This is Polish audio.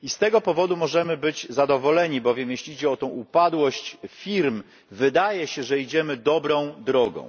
I z tego powodu możemy być zadowoleni, bowiem jeśli idzie o tę upadłość firm, wydaje się, że idziemy dobrą drogą.